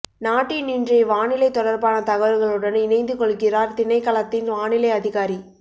நாட்டின் இன்றை வானிலை தொடர்பான தகவல்களுடன் இணைந்து கொள்கிறார் திணைக்களத்தின் வானிலை அதிகாரி